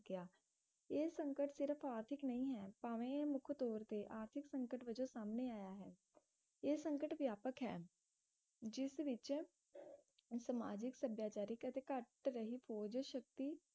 ਸਕਿਆ ਇਹ ਸੰਕਟ ਸਿਰਫ ਆਰਥਿਕ ਨਹੀਂ ਹੈ ਭਾਵੇਂ ਮੁਖ ਤੋਰ ਤੇ ਆਰਥਿਕ ਸੰਕਟ ਵਜੋਂ ਸਾਹਮਣੇ ਆਇਆ ਹੈ ਇਹ ਸੰਕਟ ਵਿਆਪਕ ਹੈ ਜਿਸ ਵਿਚ ਸਮਾਜਿਕ ਸੱਭਿਆਚਾਰਕ ਅਤੇ ਘਟ ਰਹੀ ਫੋਜ ਸ਼ਕਤੀ